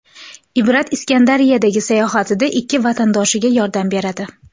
Ibrat Iskandariyadagi sayohatida ikki vatandoshiga yordam beradi.